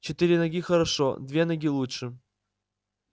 четыре ноги хорошо две ноги лучше